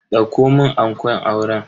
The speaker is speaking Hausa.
Dauko mun ankon auren.